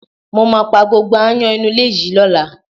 Mo máa pá gbogbo aáyán inú ilé yìí lọ́la